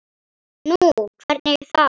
Nú, hvernig þá?